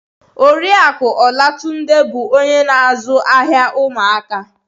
Oriakụ Olatunde bụ onye na-azụ ahịa ụmụaka